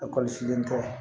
Ekɔliso den tɛ